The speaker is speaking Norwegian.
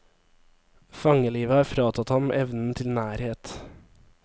Fangelivet har fratatt ham evnen til nærhet.